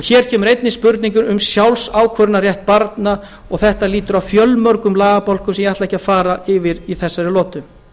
hér kemur einnig spurning um sjálfsákvörðunarrétt barna og þetta lýtur að fjölmörgum lagabálkum sem ég ætla ekki að fara yfir í þessari lotu